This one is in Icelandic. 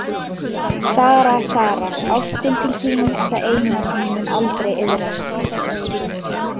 Sara, Sara, ástin til þín er það eina sem ég mun aldrei iðrast.